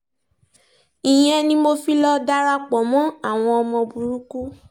ìyẹn ni mo fi lọ́ọ́ darapọ̀ mọ́ àwọn ọmọ burúkú